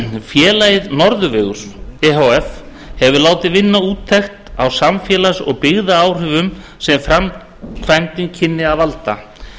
félagið norðurvegur e h f hefur látið vinna úttektir á samfélags og byggðaáhrifum sem framkvæmdin kynni að valda